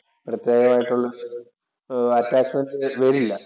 പ്രത്യേകമായിട്ടുള്ള ഒരു അറ്റാച്ച്മെന്‍റ് വരില്ല.